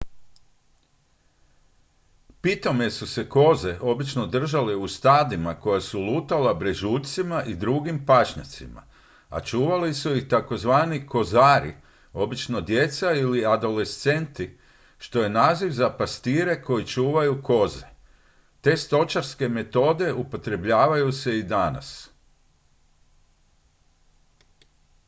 pitome su se koze obično držale u stadima koja su lutala brežuljcima i drugim pašnjacima a čuvali su ih tzv kozari obično djeca ili adolescenti što je naziv za pastire koji čuvaju koze te stočarske metode upotrebljavaju se i danas